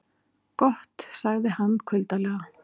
Gott sagði hann kuldalega.